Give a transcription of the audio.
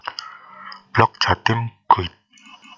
Blog Jatim Guide